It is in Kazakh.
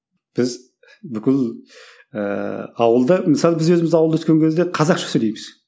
біз бүкіл ыыы ауылда мысалы біз өзіміз ауылда өскен кезде қазақша сөйлейміз